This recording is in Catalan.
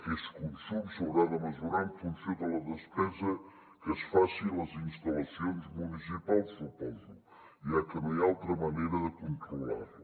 aquest consum s’haurà de mesurar en funció de la despesa que es faci a les instal·lacions municipals suposo ja que no hi ha altra manera de controlar la